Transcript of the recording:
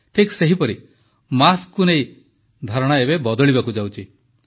ଠିକ୍ ସେହିପରି ମାସ୍କକୁ ନେଇ ଧାରଣା ଏବେ ବଦଳିବାକୁ ଯାଉଛି